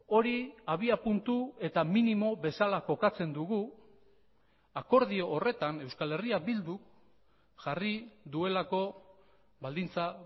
hori abiapuntu eta minimo bezala kokatzen dugu akordio horretan euskal herria bildu jarri duelako baldintza